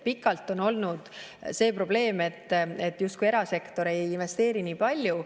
Pikalt on olnud see probleem, et erasektor justkui ei investeeri nii palju.